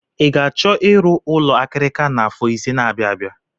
Ị ga-achọ ịrụ ụlọ akirika n'afọ ise n'abia abịa?